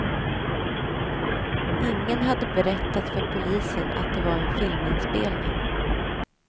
Ingen hade berättat för polisen att det var en filminspelning.